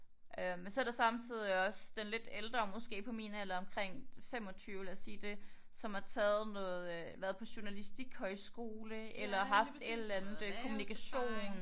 Øh men så der samtidig også den lidt ældre måske på min alder omkring 25 lad os sige det som har taget noget øh har været på journalistik højskole eller haft et eller andet kommunikation